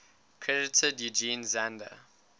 credited eugen zander